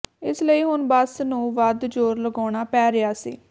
ਇਸ ਲਈ ਹੁਣ ਬੱਸ ਨੂੰ ਵੱਧ ਜ਼ੋਰ ਲਗਾਉਣਾ ਪੈ ਰਿਹਾ ਸੀ